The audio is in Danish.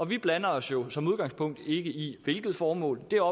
vi blander os jo som udgangspunkt ikke i hvilket formål det er